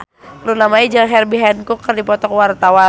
Luna Maya jeung Herbie Hancock keur dipoto ku wartawan